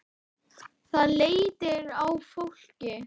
Það léttir á fólki.